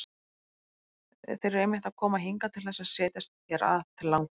Þeir eru einmitt að koma hingað til þess að setjast hér að til langframa!